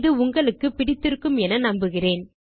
இது உங்களுக்கு பிடித்து இருக்குமென நம்புகிறேன்